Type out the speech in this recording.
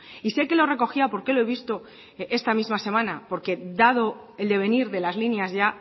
y sé que lo recogía porque lo he visto esta misma semana porque dado el devenir de las líneas ya